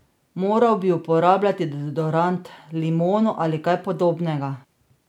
Moral bi uporabljati deodorant, limono ali kaj podobnega.